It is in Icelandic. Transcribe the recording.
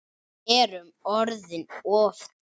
Við erum orðin of dýr.